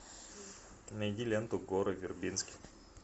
найди ленту гора вербински